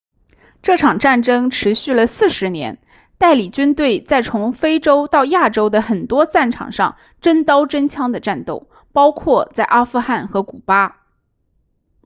这场战争持续了40年代理军队在从非洲到亚洲的很多战场上真刀真枪地战斗包括在阿富汗和古巴